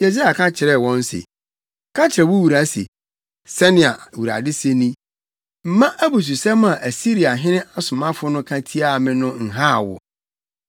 Yesaia ka kyerɛɛ wɔn se, “Ka kyerɛ wo wura se, ‘Sɛnea Awurade se ni: Mma abususɛm a Asiriahene asomafo no ka tiaa me no nhaw wo.